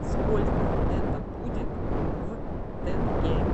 сколько это будет в тенге